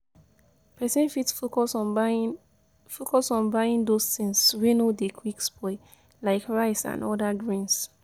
Person fit focus on buying those things wey no dey quick spoil, like rice and oda grains